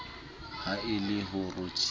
ha e le ho rothisa